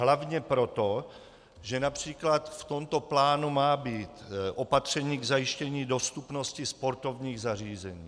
Hlavně proto, že například v tomto plánu má být opatření k zajištění dostupnosti sportovních zařízení.